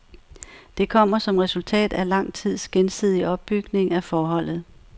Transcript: Det kommer som resultat af lang tids gensidig opbygning af forholdet.